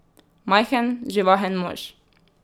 Majhen, živahen mož.